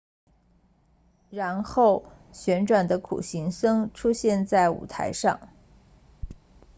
然后旋转的苦行僧出现在舞台上